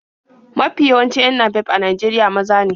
Mafi yawancin 'yan napep a Najeriya maza ne.